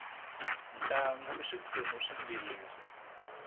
ntlangu i swiphemu swimbirhi